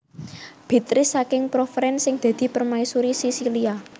Béatrice saking Provence sing dadi permaisuri Sisilia